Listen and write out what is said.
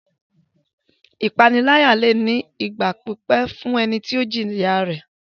Ìpaniláyà lè ní ipa fún ìgbà pípẹ́ lórí ẹni tí ó jìya rẹ̀.